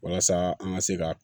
Walasa an ka se ka